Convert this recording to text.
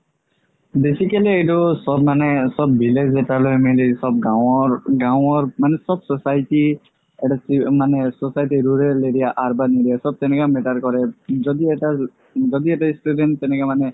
basically এইটো চ'ব মানে চ'ব চ'ব গাৱৰ গাৱৰ মানে চ'ব society মানে society rural area urban area চ'ব তেনেকা matter কৰে যদি এটা যদি এটা student তেনেকা মানে